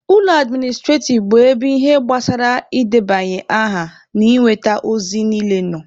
Ụlọ administrativ bụ ebe ihe gbasara ị debanye aha na inweta ozi niile nọ.